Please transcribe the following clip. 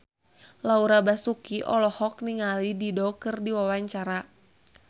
Laura Basuki olohok ningali Dido keur diwawancara